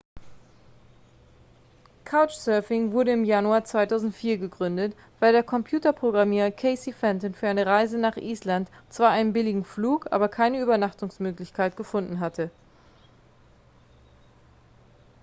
couchsurfing wurde im januar 2004 gegründet weil der computerprogrammierer casey fenton für eine reise nach island zwar einen billigen flug aber keine übernachtungsmöglichkeit gefunden hatte